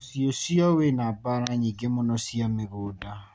Mũciĩ cio wina mbara nyingĩ mũno cia mĩgũnda.